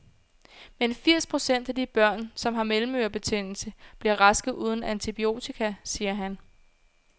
Men firs procent af de børn, som har mellemørebetændelse, bliver raske uden antibiotika, siger han.